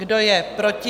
Kdo je proti?